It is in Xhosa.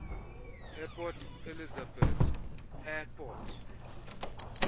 eport elizabeth airport